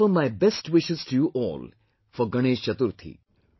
I offer my best wishes to you all for Ganesh Chaturthi